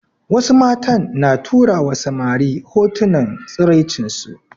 Wasu matan na turawa samari hotunan tsiraicinsu